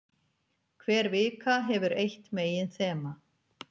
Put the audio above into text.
Hver vika hefur eitt meginþema.